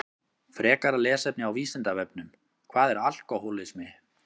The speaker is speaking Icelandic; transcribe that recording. Frekara lesefni á Vísindavefnum Hvað er alkóhólismi?